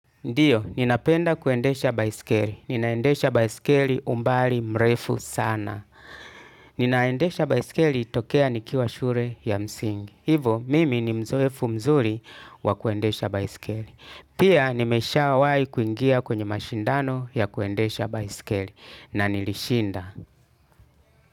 Ndiyo, ninapenda kuendesha baiskeli. Ninaendesha baiskeli umbali mrefu sana. Ninaendesha baiskeli tokea nikiwa shule ya msingi. Hivo, mimi ni mzoefu mzuri wa kuendesha baiskeli. Pia, nimesha wahi kuingia kwenye mashindano ya kuendesha baiskeli. Na nilishinda.